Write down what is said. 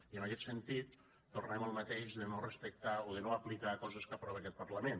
i en aquest sentit tornem al mateix de no respectar o de no aplicar coses que aprova aquest parlament